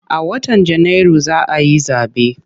A watan Janairu za a yi zaɓe.